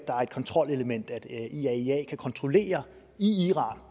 her kontrolelement at iaia kan kontrollere i iran